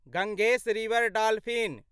Gangesh river dolphin